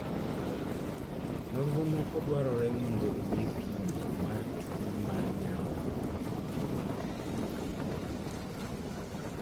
. Nonro moko dwarore mondo ong'e pimo mar tuo mar nyarogno